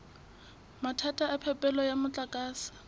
mathata a phepelo ya motlakase